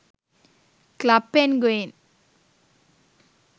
club penguin